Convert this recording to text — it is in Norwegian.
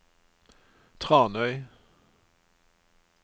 Tranøy